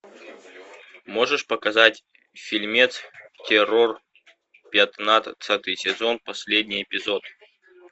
можешь показать фильмец террор пятнадцатый сезон последний эпизод